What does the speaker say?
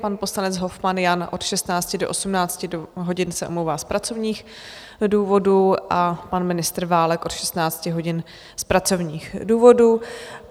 Pan poslanec Hofmann Jan od 16 do 18 hodin se omlouvá z pracovních důvodů a pan ministr Válek od 16 hodin z pracovních důvodů.